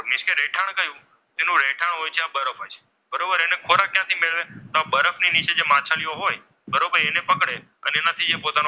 તરફ હોય છે બરાબર એને ખોરાક ક્યાંથી મેળવે બરફની નીચે જે માછલીઓ હોય બરોબર અમે પકડે અને એનાથી જ પોતાનું,